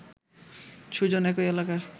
সুজন একই এলাকার